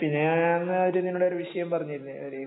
പിന്നെ ഞാനന്ന് ഒരു നിന്നോടൊരു വിഷയം പറഞ്ഞിരുന്നു ഒരു